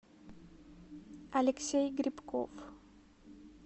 алексей грибков